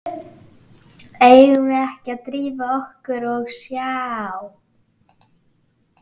Eigum við ekki að drífa okkur og sjá.